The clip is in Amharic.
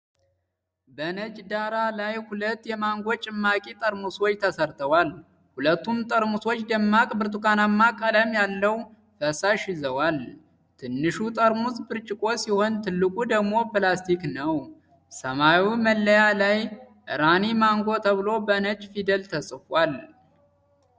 በነጭ ዳራ ላይ ሁለት የማንጎ ጭማቂ ጠርሙሶች ተሰርተዋል። ሁለቱም ጠርሙሶች ደማቅ ብርቱካንማ ቀለም ያለው ፈሳሽ ይዘዋል። ትንሹ ጠርሙስ ብርጭቆ ሲሆን፣ ትልቁ ደግሞ ፕላስቲክ ነው። ሰማያዊ መለያ ላይ “ራኒ ማንጎ” ተብሎ በነጭ ፊደል ተጽፏል።